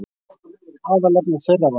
Aðalefni þeirra var þetta